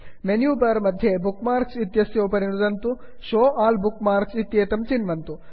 menu bar मध्ये bookmarks bookmarks इत्यस्य उपरि नुदन्तु Show all bookmarks show all bookmarks इत्येतत् चिन्वन्तु